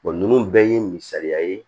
nunnu bɛɛ ye misaliya ye